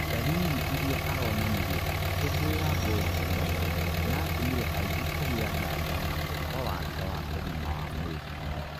dariri iria aronanirie agĩkũngũira ngoorũ ĩyo, ĩratũmire aingĩ kũgia nganja na ũhoro wake wa ũgima wa mwĩrĩ